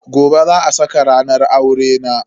Gobe za a saka ranar aurena.